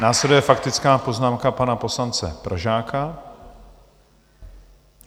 Následuje faktická poznámka pana poslance Pražáka.